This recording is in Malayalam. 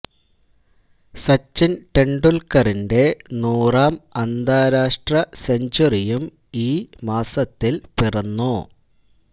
സച്ചിന് ടെണ്ടുല്ക്കറിന്റെ നൂറാം അന്താരാഷ്ട്ര സെഞ്ച്വറിയും ഈ മാസത്തില് പിറന്നു